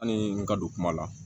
Hali n ka don kuma la